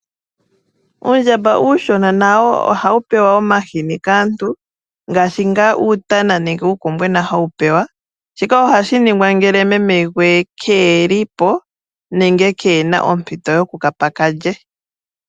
Uundjambambwena ohawu pewa omahini kaantu, ngaashi nga uutana nuukombwena hawu pewa. Shika ohashi ningwa ngele meme gwe keeli po nenge kena ompito yokukapa ka lye.